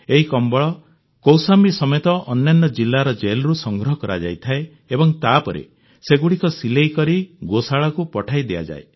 ଏହି କମ୍ବଳ କୌଶାମ୍ବୀ ସମେତ ଅନ୍ୟାନ୍ୟ ଜିଲ୍ଲାର ଜେଲରୁ ସଂଗ୍ରହ କରାଯାଇଥାଏ ଏବଂ ତାପରେ ସେଗୁଡ଼ିକ ସିଲେଇ କରି ଗୋଶାଳାଗୁଡ଼ିକୁ ପଠାଯାଇଥାଏ